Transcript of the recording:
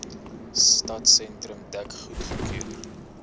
stadsentrum dek goedgekeur